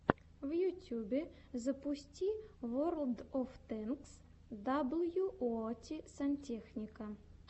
в ютьюбе запусти ворлд оф тэнкс даблюоути сантехника